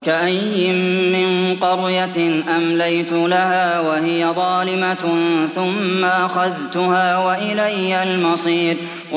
وَكَأَيِّن مِّن قَرْيَةٍ أَمْلَيْتُ لَهَا وَهِيَ ظَالِمَةٌ ثُمَّ أَخَذْتُهَا وَإِلَيَّ الْمَصِيرُ